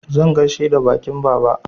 Zan gaishe da baƙin baba.